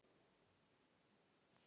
Mikið sem það gladdi mig.